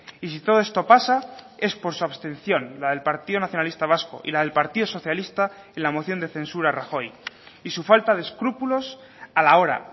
y si todo esto pasa es por su abstención la del partido nacionalista vasco y la del partido socialista en la moción de censura a rajoy y su falta de escrúpulos a la hora